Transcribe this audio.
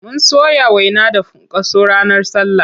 Mun soya waina da funkaso ranar sallah.